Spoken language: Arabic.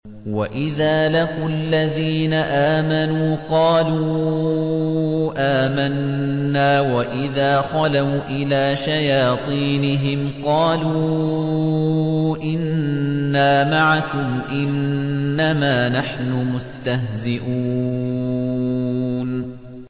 وَإِذَا لَقُوا الَّذِينَ آمَنُوا قَالُوا آمَنَّا وَإِذَا خَلَوْا إِلَىٰ شَيَاطِينِهِمْ قَالُوا إِنَّا مَعَكُمْ إِنَّمَا نَحْنُ مُسْتَهْزِئُونَ